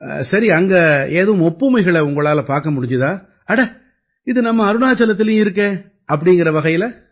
சரி அங்க ஏதும் ஒப்புமைகளை உங்களால பார்க்க முடிஞ்சுதா அட இது நம்ம அருணாச்சலத்திலயும் இருக்கே அப்படீங்கற வகையில